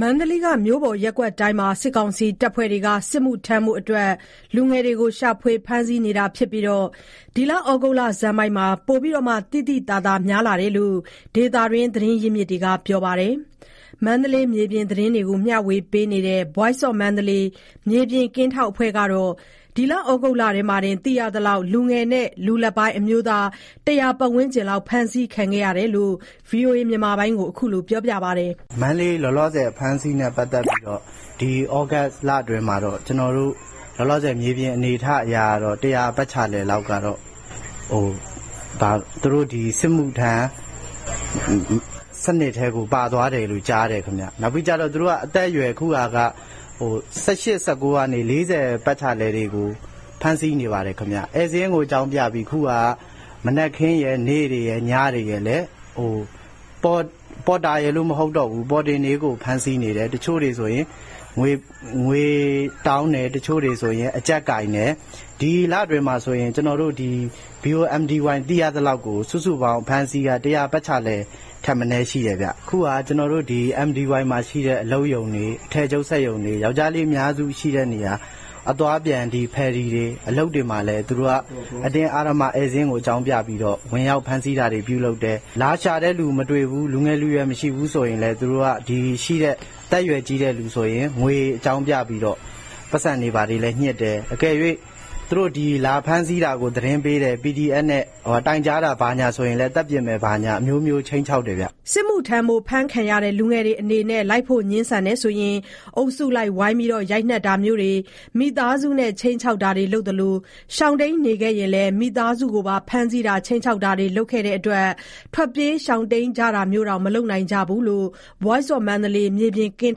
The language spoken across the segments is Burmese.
မန္တလေးက မြို့ပေါ်ရပ်ကွက်တိုင်းမှာ စစ်ကောင်စီ အဖွဲ့တွေက စစ်မှုထမ်းဖို့ အတွက် လူငယ်တွေကို ရှာဖွေဖမ်းဆီးနေတာဖြစ်ပြီး ဒီလဩဂုတ်လဆန်းပိုင်းမှာ ပိုပြီး သိသိသာသာ များလာတယ်လို့ ဒေသတွင်း သတင်းရင်းမြစ်တွေက ပြောပါတယ်။ မန္တလေး မြေပြင်သတင်းတွေကို မျှဝေနေတဲ့ Voice of Mandalay မြေပြင်ကင်းထောက်အဖွဲ့ကတော့ ဒီဩဂုတ်လထဲမှာတင် သိရသလောက် လူငယ်နဲ့ လူလတ်ပိုင်း အမျိုးသား ၁၀၀ ပတ်ဝန်းကျင်လောက် ဖမ်းဆီးခံခဲ့ရတယ်လို့ VOA ကို အခုလိုပြောပါတယ်။ “မန္တလေးမှာ လောလောဆယ် အဖမ်းအဆီးနဲ့ ပတ်သက်ပြီးတော့ ဒီဩဂုတ်လအတွင်းမှာတော့ လောလောဆယ် မြေပြင်အနေအထားအရကတော့ ၁၀၀ ပတ်ချာလည်လောက်ကတော့ သူတို့ ဒီ စစ်မှုထမ်း စနစ်ထဲကိုပါသွားတယ်လို့ ကြားတယ်ခင်ဗျ။ နောက်ပြီး သူတို့က အသက်အရွယ်ကို ခုဟာက ၁၈ ၁၉ ကနေ ၄၀ ပတ်ချာလည်တွေကို ဖမ်းဆီးနေတယ်ဗျ။ ဧည့်စာရင်းကို အကြောင်းပြပြီး ခုဟာက မနက်ခင်းရယ် နေ့လည်ရယ် ညတွေရယ်မှာလည်း ပေါ်တာရယ်လို့ မဟုတ်တော့ဘူး ပေါ်တင်တွေကို ဖမ်းဆီးနေတာ။ တချို့တွေဆိုရင် ငွေတောင်းတယ်၊ တချို့တွေဆိုရင် အကြပ်ကိုင်တယ်။ ဒီလအတွင်းမှာဆိုရင် ကျွန်တော်တို့ ဒီ VOMdy သိရသလောက်ကို စုစုပေါင်းအဖမ်းအဆီးက ၁၀၀ ပတ်ချာလည်လောက်ကို ရှိတယ်ဗျ။ အခု ကျွန်တော်တို့ မန္တလေးမှာရှိတဲ့ အလုပ်ရုံတွေ၊ အထည်ချုပ်စက်ရုံတွေ၊ ယောက်ျားလေးအများစု ရှိတဲ့နေရာ၊ အသွားအပြန် ဖယ်ရီတွေ၊ အလုပ်တွေမှာလည်း သူတို့က အတင်းအဓမ္မ ဧည့်စာရင်းကို အကြောင်းပြပြီးတော့ ဝင်ရောက်ဖမ်းဆီးတာတွေ ပြုလုပ်တယ်။ လာရှာတဲ့သူမတွေ့ဘူး၊ လူငယ်လူရွယ်မတွေ့ဘူးဆိုရင်လည်း သူတို့က ရှိတဲ့ အသက်အရွယ် ကြီးတဲ့သူတွေကို ငွေအကြောင်းပြပြီးတော့ ပိုက်ဆံလဲ ညှစ်တယ်။ အကယ်၍ သူတို့ ဒီလာဖမ်းဆီးတာကို သတင်းပေးတယ်၊ PDF နဲ့ တိုင်ကြားတာဘာညာဆိုရင်လည်း သတ်ပစ်မယ်ဘာညာ အမျိုးမျိုး ခြိမ်းခြောက်တယ်ဗျ။” စစ်မှုထမ်းဖို့ ဖမ်းခံရတဲ့လူငယ်တွေအနေနဲ့ လိုက်ဖို့ ငြင်းဆန်ရင် အုပ်စုလိုက် ဝိုင်းပြီး ရိုက်နှက်တာမျိုးတွေ၊ မိသားစုနဲ့ ခြိမ်းခြောက်တာတွေ လုပ်သလို ရှောင်တိမ်းနေရင်လဲ မိသားစုကိုပါ ဖမ်းဆီးတာ၊ ခြိမ်းခြောက်တာတွေ လုပ်တဲ့အတွက် ထွက်ပြေးရှောင်တိမ်းကြတာမျိုးတောင် မလုပ်နိုင်ကြဘူးလို့ Voice of Mandalay မြေပြင်ကင်း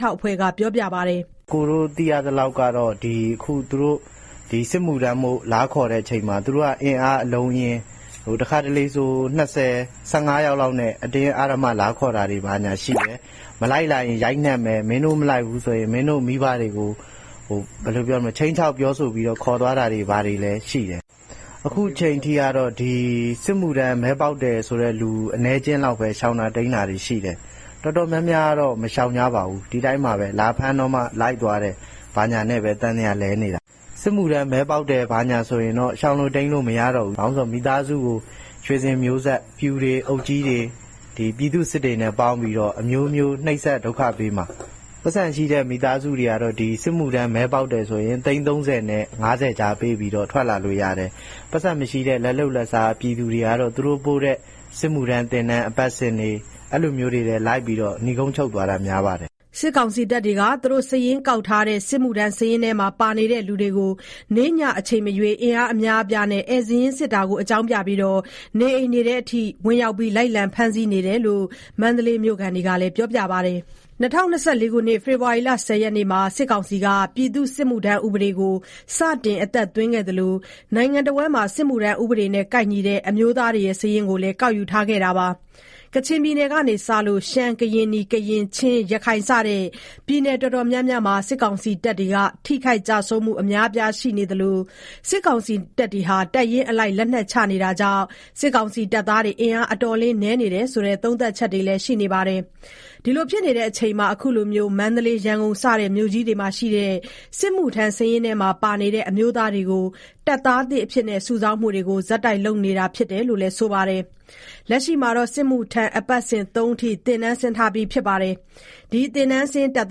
ထောက်အဖွဲ့က ပြောပါတယ်။ “ကျွန်တော်တို့ သိရသလောက်ကတော့ ဒီ သူတို့ စစ်မှုထမ်းဖို့ လာခေါ်တဲ့အချိန်မှာ သူတို့က အင်အား အလုံးအရင်း၊ တခါတလေဆို ၂၀၊ ၁၅ ယောက်လောက်နဲ့ အတင်းအဓမ္မလာခေါ်တာတွေ ရှိတယ်။ မလိုက်ရင် ရိုက်နှက်မယ်၊ မင်းတို့ မလိုက်ဘူးဆိုရင် မင်းတို့ မိဘတွေကို ဘာလုပ်မယ်ဆိုတာမျိုး ခြိမ်းခြောက် ပြောဆိုပြီးတော့ ခေါ်သွားတာမျိုးတွေလည်းရှိတယ်။ အခုအချိန်ထိကတော့ စစ်မှုထမ်း မဲပေါက်တယ်ဆိုတဲ့လူ အနည်းအကျဉ်းလောက်ပဲ ရှောင်တာ တိမ်းတာတွေ ရှိတယ်။ တော်တော်များများကတော့ မရှောင်ကြပါဘူး ဒီအတိုင်းပါပဲ။ လာဖမ်းတော့မှ လိုက်သွားတယ်ဘာညာ နဲ့ပဲ သံသယာလည်နေတာ။ စစ်မှုထမ်း မဲပေါက်တယ်ဆိုရင်တော့ ရှောင်လို့တိမ်းလို့ မရတော့ဘူး။ ဘာလို့ဆို မိသားစုကို ဆွေစဉ်မျိုးဆက် ပျူတွေ အုပ်ကြီးတွေ ပြည်သူ့စစ်တွေနဲ့ ပေါင်းပြီးတော့ အမျိုးမျိုး နှိပ်စက် ဒုက္ခပေးမှာ။ ပိုက်ဆံရှိတဲ့ မိသားစုတွေကတော့ စစ်မှုထမ်း မဲပေါက်တယ်ဆိုရင် သိန်း ၃၀ နဲ့ ၅၀ ကြားပေးပြီးတော့ ထွက်လာလို့ရတယ်။ ပိုက်ဆံမရှိတဲ့ လက်လုပ်လက်စားပြည်သူတွေကတော့ သူတို့ပို့တဲ့ စစ်မှုထမ်း သင်တန်း အပတ်စဉ်တွေ အဲ့လိုမျိုးတွေထဲ လိုက်ပြီးတော့ နိဂုံးချုပ်သွားတာ များပါတယ်။” စစ်ကောင်စီက သူတို့ စာရင်းကောက်ထားတဲ့ စစ်မှုထမ်းစာရင်းထဲမှာ ပါနေတဲ့ လူတွေကို နေ့ည အချိန်မရွေး အင်အား အများအပြားနဲ့ ဧည့်စာရင်းကို အကြောင်းပြပြီး နေအိမ်တွေထဲအထိ ဝင်ရောက်ပြီး လိုက်လံ ဖမ်းဆီးနေတာဖြစ်တယ်လို့ မန္တလေးမြို့ခံတွေက ပြောပါတယ်။ ၂၀၂၄ ခုနှစ် ဖေဖော်ဝါရီလ ၁၀ ရက်နေ့မှာ စစ်ကောင်စီက ပြည်သူ့စစ်မှုထမ်း ဥပဒေကို စတင်အသက်သွင်းခဲ့သလို နိုင်ငံတဝန်းမှာ စစ်မှုထမ်း ဥပဒေနဲ့ ကိုက်ညီတဲ့ အမျိုးသားတွေရဲ့ စာရင်းကို ကောက်ယူထားခဲ့တာပါ။ ကချင်ပြည်နယ်ကစလို့ ရှမ်း၊ ကရင်နီ၊ ကရင်၊ ချင်း၊ ရခိုင် စတဲ့ ပြည်နယ်အတာ်တော်များမှာ စစ်ကောင်စီတပ်တွေ ထိခိုက်ကျဆုံးမှု တွေအများအပြားရှိနေသလို၊ တပ်ရင်းအလိုက် လက်နက်ချမှုတွေကြောင့် စစ်ကောင်စီတပ်သား အင်အားအတော်လေးနည်းနေတယ်ဆိုတဲ့ သုံးသပ်ချက်တွေရှိနေပါတယ်။ ဒီလိုအချိန်မှာ အခုလို မန္တလေး ရန်ကုန် စတဲ့ မြို့ကြီးတွေမှာရှိတဲ့ စစ်မှုထမ်းစာရင်းထဲမှာ ပါနေတဲ့ အမျိုးသားတွေကို တပ်သားသစ်အဖြစ် စုဆောင်းမှုတွေကို ဆက်တိုက်လုပ်လာနေတာဖြစ်တယ်လို့ ဆိုပါတယ်။ လက်ရှိမှာ စစ်မှုထမ်း အပတ်စဉ် ၃ အထိ သင်တန်းဆင်းထားပြီး ဖြစ်ပြီးတော့ ဒီ သင်တန်းဆင်း တပ်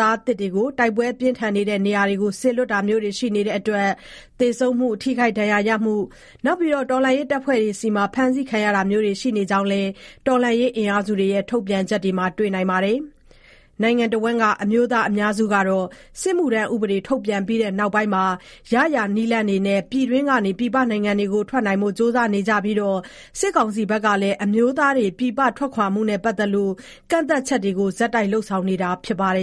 သားသစ်တွေကို တိုက်ပွဲပြင်းထန်တဲ့ နေရာတွေကို စေလွှတ်တာမျိုးတွေ ရှိနေတဲ့အတွက် သေဆုံးမှုနဲ့ ထိခိုက်ဒဏ်ရာရမှုတွေ၊ တော်လှန်ရေး တပ်ဖွဲ့တွေဆီမှာ ဖမ်းဆီးခံရတာမျိုးတွေ ရှိနေကြောင်းလည်း တော်လှန်ရေးအင်အားစုတွေရဲ့ ထုတ်ပြန်ချက်တွေမှာ တွေ့ကြရပါတယ်။ နိုင်ငံတွင်းက အမျိုးသား အများစုက စစ်မှုထမ်းဥပဒေ ထုတ်ပြန်ပြီးနောက်ပိုင်းမှာ ရရာနည်းလမ်းနဲ့ ပြည်တွင်းက ထွက်နိုင်ဖို့ကြိုးစားနေကြပြီး စစ်ကောင်စီကလည်း အမျိုးသားတွေ ပြည်ပထွက်ခွာမှုနဲ့ ပတ်သက်လို့ ကန့်သတ်ချက်တွေကို ဆက်တိုက် လုပ်ဆောင်နေတာဖြစ်ပါတယ်